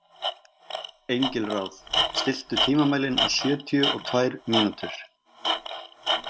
Engilráð, stilltu tímamælinn á sjötíu og tvær mínútur.